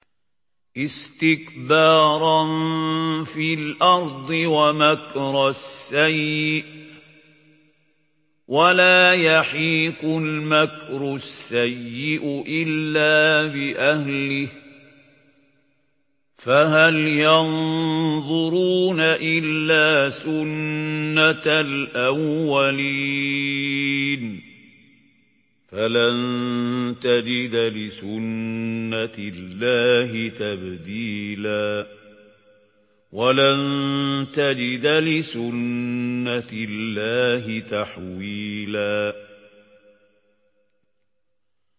اسْتِكْبَارًا فِي الْأَرْضِ وَمَكْرَ السَّيِّئِ ۚ وَلَا يَحِيقُ الْمَكْرُ السَّيِّئُ إِلَّا بِأَهْلِهِ ۚ فَهَلْ يَنظُرُونَ إِلَّا سُنَّتَ الْأَوَّلِينَ ۚ فَلَن تَجِدَ لِسُنَّتِ اللَّهِ تَبْدِيلًا ۖ وَلَن تَجِدَ لِسُنَّتِ اللَّهِ تَحْوِيلًا